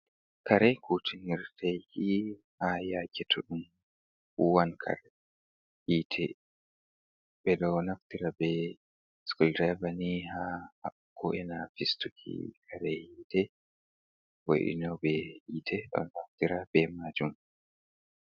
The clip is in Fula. Kare kutinirɗe ni, ha yake to ɗum huwan kare hite ɓeɗo naftira be sukul direvani, ha haɓɓugo ena fistuki kare hite, Vo'inobe hite ɗo naftira be majum.